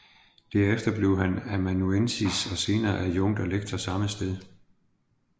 Derefter blev han amanuensis og senere adjunkt og lektor samme sted